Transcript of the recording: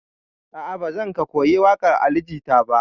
A'a, ba zan ka koyi waƙar Ali Jita ba.